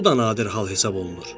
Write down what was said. Bu da nadir hal hesab olunur.